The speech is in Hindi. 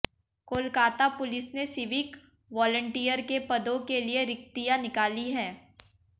कोलकाता पुलिस ने सिविक वॉलंटियर के पदों के लिए रिक्तियां निकाली हैं